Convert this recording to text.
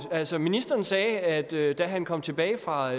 altså ministeren sagde at der da han kom tilbage fra